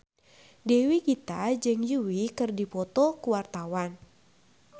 Dewi Gita jeung Yui keur dipoto ku wartawan